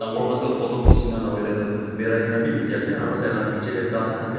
More khando photo kichina nahoi laydo berai kinabe dekhi asa aro teyla bechatey kas khanbe dekhi asa.